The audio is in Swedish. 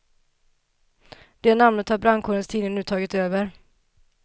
Det namnet har brandkårens tidning nu tagit över.